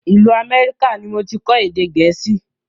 Ìlú Amẹ́ríkà ni moti kọ́ èdè gẹ̀ẹ́sì